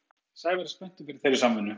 Sævar er spenntur fyrir þeirri samvinnu.